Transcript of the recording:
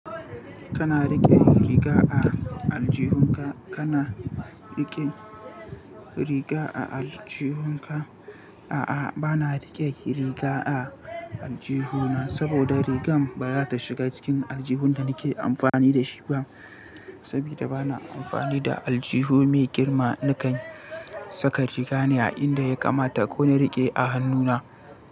Kana riƙe riga a aljihunka? Kana riƙe riga a aljihunka? A'a, ba na riƙe riga a aljihu na saboda rigar baya ta shiga cikin aljihun da nake amfani da shi ba. Saboda ba na amfani da aljihu mai girma nakan saka riga ne a inda ya kamata ko na riƙe a hannuna.